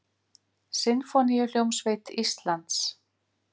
Sinfóníuhljómsveit Íslands.